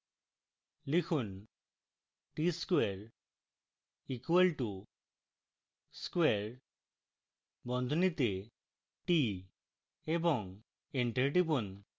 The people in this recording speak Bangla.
লিখুন tquare = square বন্ধনীতে t এবং enter টিপুন